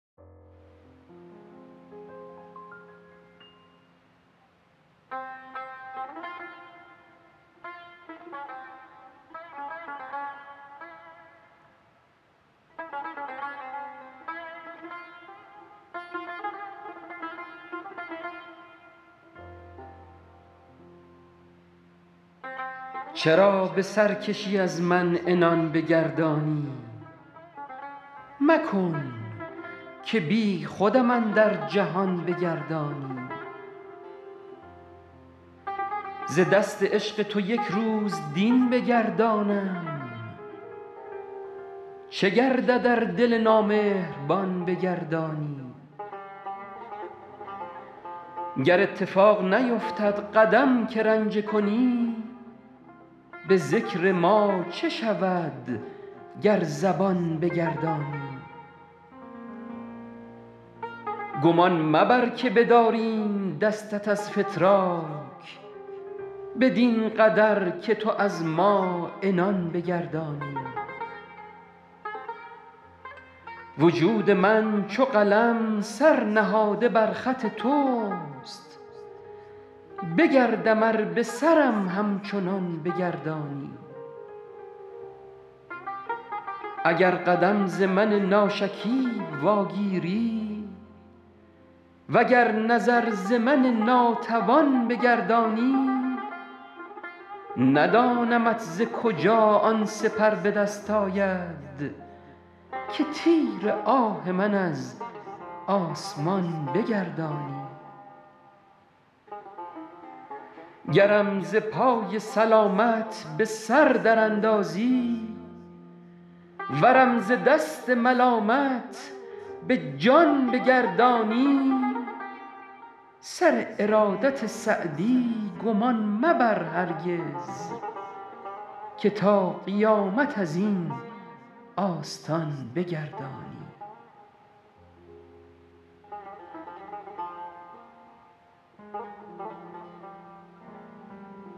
چرا به سرکشی از من عنان بگردانی مکن که بیخودم اندر جهان بگردانی ز دست عشق تو یک روز دین بگردانم چه گردد ار دل نامهربان بگردانی گر اتفاق نیفتد قدم که رنجه کنی به ذکر ما چه شود گر زبان بگردانی گمان مبر که بداریم دستت از فتراک بدین قدر که تو از ما عنان بگردانی وجود من چو قلم سر نهاده بر خط توست بگردم ار به سرم همچنان بگردانی اگر قدم ز من ناشکیب واگیری و گر نظر ز من ناتوان بگردانی ندانمت ز کجا آن سپر به دست آید که تیر آه من از آسمان بگردانی گرم ز پای سلامت به سر در اندازی ورم ز دست ملامت به جان بگردانی سر ارادت سعدی گمان مبر هرگز که تا قیامت از این آستان بگردانی